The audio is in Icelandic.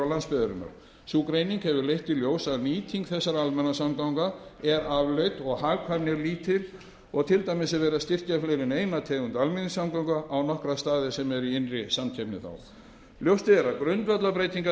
og landsbyggðarinnar sú greining hefur leitt í ljós að nýting þessara almenningssamgangna er afleit og hagkvæmni er lítil og til dæmis er verið að styrkja fleiri en eina tegund almenningssamgangna á nokkra staði sem eru í innri samkeppni þá ljóst er að grundvallarbreytingar verður